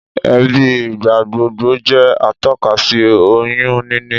Èébì ìgbàgbogbo jẹ́ atọ́ka sí oyún níní